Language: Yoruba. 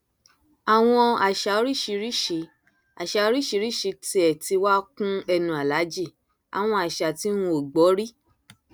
àwọn àṣà oríṣiríṣiì àṣà oríṣiríṣiì tiẹ tí wàá kún ẹnu aláàjì àwọn àṣà tí n ò gbọ rí